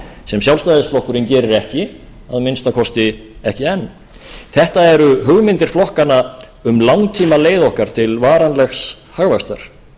sem sjálfstæðisflokkurinn gerir ekki að minnsta kosti ekki enn þetta eru hugmyndir flokkanna um langtímaleið okkar til varanlegs hagvaxtar